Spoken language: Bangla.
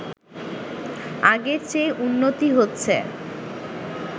আগের চেয়ে উন্নতি হচ্ছে